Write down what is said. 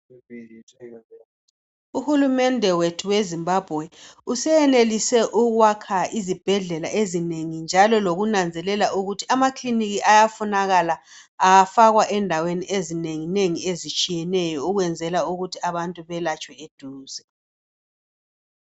Uhulumende wethu weZimbabwe useyenelise ukwakha izibhedlela ezinengi njalo lokunanzelela ukuthi ama kilinika ayafunakala afakwe ezindaweni ezinengi nengi ezitshiyeneyo ukwenzela ukuthi abantu beyelatshwe eduze.